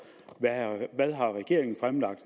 hvad har regeringen fremlagt